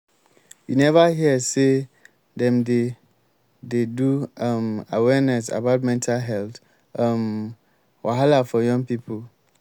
you neva hear sey dem dey dey do um awareness about mental health um wahala for young pipo?